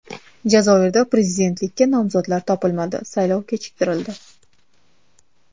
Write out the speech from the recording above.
Jazoirda prezidentlikka nomzodlar topilmadi, saylov kechiktirildi.